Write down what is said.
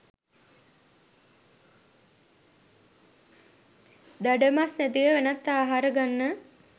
දඩ මස් නැතිව වෙනත් ආහාර ගන්න